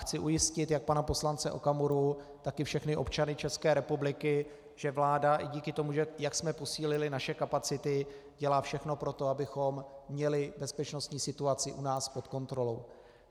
Chci ujistit jak pana poslance Okamuru, tak i všechny občany České republiky, že vláda i díky tomu, jak jsme posílili naše kapacity, dělá všechno pro to, abychom měli bezpečnostní situaci u nás pod kontrolou.